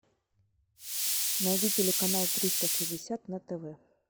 найди телеканал триста шестьдесят на тв